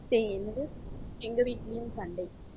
என்னது எங்க வீட்லயும் சண்டை.